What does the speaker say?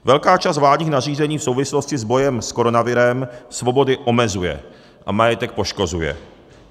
Velká část vládních nařízení v souvislosti s bojem s koronavirem svobody omezuje a majetek poškozuje.